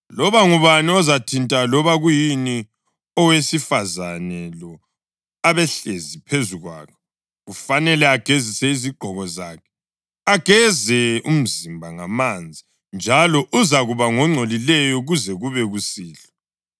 Loba ngubani ozathinta loba kuyini owesifazane lo abehlezi phezu kwakho kufanele agezise izigqoko zakhe, ageze umzimba ngamanzi, njalo uzakuba ngongcolileyo kuze kube kusihlwa.